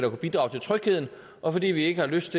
kunne bidrage til trygheden og fordi vi ikke har lyst